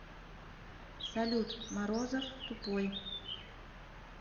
салют морозов тупой